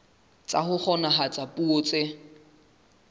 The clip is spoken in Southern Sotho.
tsa ho kgonahatsa puo tse